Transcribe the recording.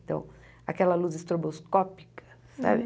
Então, aquela luz estroboscópica, sabe?